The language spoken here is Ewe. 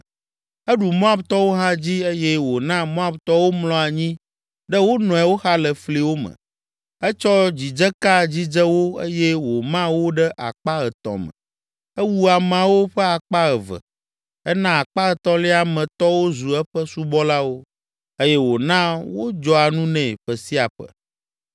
Eɖu Moabtɔwo hã dzi eye wòna Moabtɔwo mlɔ anyi ɖe wo nɔewo xa le fliwo me. Etsɔ dzidzeka dzidze wo eye wòma wo ɖe akpa etɔ̃ me. Ewu ameawo ƒe akpa eve, ena akpa etɔ̃lia me tɔwo zu eƒe subɔlawo eye wòna wodzɔa nu nɛ ƒe sia ƒe.